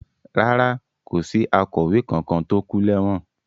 Rárá, kò sí akọ̀wé kankan tó kú lẹ́wọ̀n.